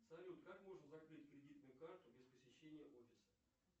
салют как можно закрыть кредитную карту без посещения офиса